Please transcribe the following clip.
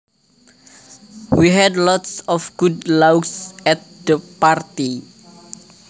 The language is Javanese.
We had lots of good laughs at the party